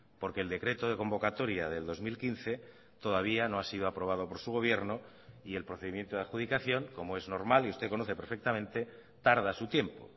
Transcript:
porque el decreto de convocatoria del dos mil quince todavía no ha sido aprobado por su gobierno y el procedimiento de adjudicación como es normal y usted conoce perfectamente tarda su tiempo